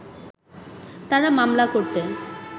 তারা মামলা করতে